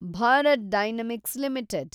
Bharat Dynamics limited